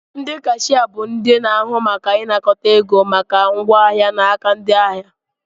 Ndị kashia bụ ndị na-ahụ maka ịnakọta ego maka ngwa ahịa n'aka ndị ahịa